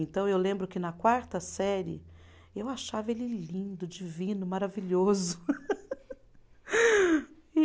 Então, eu lembro que na quarta série, eu achava ele lindo, divino, maravilhoso.